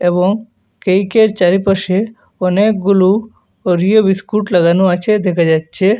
এবং কেইকের চারিপাশে অনেকগুলো ওরিও বিস্কুট লাগানো আছে দেখা যাচ্ছে।